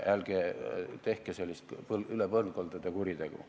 Aga ärge tehke sellist üle põlvkondade ulatuvat kuritegu.